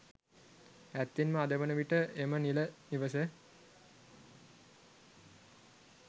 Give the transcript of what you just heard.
ඇත්තෙන්ම අද වන විට එම නිල නිවස